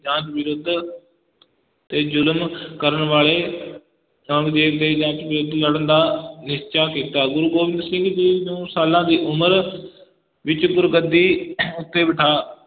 ਜਾਂਚ ਵਿਰੁੱਧ ਤੇ ਜ਼ੁਲਮ ਕਰਨ ਵਾਲੇ ਔਰੰਗਜੇਬ ਦੇ ਜਾਂਚ ਵਿਰੁੱਧ ਲੜਨ ਦਾ ਨਿਸ਼ਚਾ ਕੀਤਾ, ਗੁਰੂ ਗੋਬਿੰਦ ਸਿੰਘ ਜੀ ਨੂੰ ਸਾਲਾਂ ਦੀ ਉਮਰ ਵਿਚ ਗੁਰਗੱਦੀ ਉੱਤੇ ਬੈਠਾ,